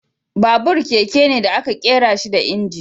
Babur, keke ne da aka ƙera shi da inji.